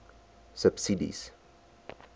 subsidies